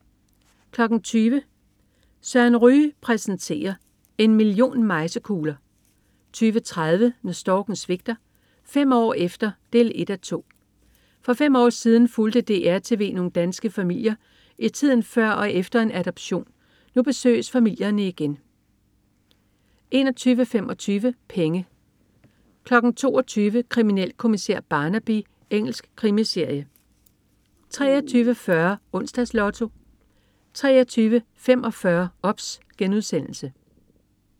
20.00 Søren Ryge præstenterer. En million mejsekugler 20.30 Når storken svigter. Fem år efter 1:2. For fem år siden fulgte DR TV nogle danske familier i tiden før og efter en adoption. Nu besøges familierne igen 21.25 Penge 22.00 Kriminalkommissær Barnaby. Engelsk krimiserie 23.40 Onsdags Lotto 23.45 OBS*